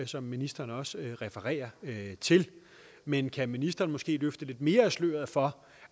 som ministeren også refererer til men kan ministeren måske løfte lidt mere af sløret for